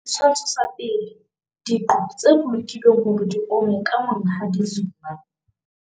Setshwantsho sa 1. Diqo tse bolokilweng hore di ome ka Monghadi Zuma.